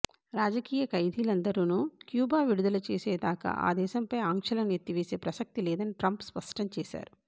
రాజకీయ ఖైదీలందరనూ క్యూబా విడుదల చేసే దాకా ఆ దేశంపై ఆంక్షలను ఎత్తివేసే ప్రసక్తి లేదని ట్రంప్ స్పష్టం చేశారు